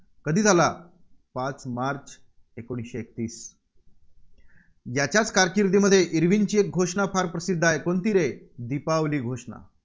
कधी झाला? पाच मार्च एकोणीसशे एकतीस याच्याच कारकिर्दीमध्ये इर्विनची घोषणा फार प्रसिद्ध आहे, कोणती रे? दीपावली घोषणा